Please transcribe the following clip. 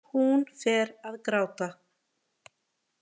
Hún fer að gráta.